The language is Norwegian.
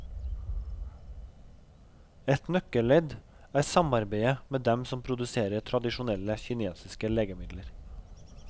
Et nøkkelledd er samarbeidet med dem som produserer tradisjonelle kinesiske legemidler.